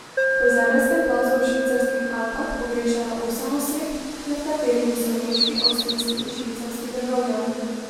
Po zemeljskem plazu v švicarskih Alpah pogrešajo osem oseb, med katerimi so nemški, avstrijski in švicarski državljani.